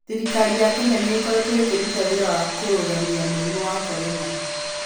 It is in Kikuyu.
Thirikari ya Kenya nĩ ĩkoretwo ĩkĩruta wĩra wa kũrũgamia mũrimũ wa Corona.